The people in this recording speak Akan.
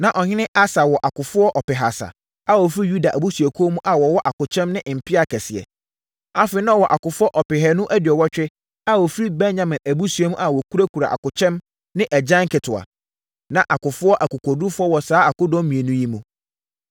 Na ɔhene Asa wɔ akofoɔ ɔpehasa a wɔfiri Yuda abusuakuo mu a wɔwɔ akokyɛm ne mpea akɛseɛ. Afei, na ɔwɔ akofoɔ ɔpehanu aduɔwɔtwe a wɔfiri Benyamin abusua mu a wɔkurakura akokyɛm ne agyan nketewa. Na akofoɔ akokoɔdurufoɔ wɔ saa akodɔm mmienu yi mu.